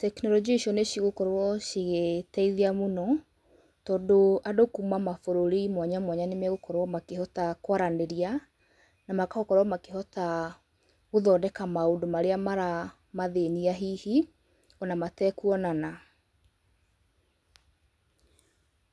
Tekinorojia icio nĩcigũkorwo cigĩteithia mũno, tondũ andũ kuma mabũrũri mwanyamwanya nĩmagũkorwo makĩhota kwaranĩria, na magakorwo makĩhota gũthondeka maũndũ marĩa mara mathĩnia hihi, ona matekuonana.